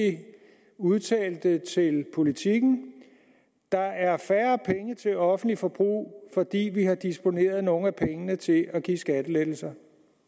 udtalte til politiken der er færre penge til offentligt forbrug fordi vi har disponeret nogle af pengene til at give skattelettelser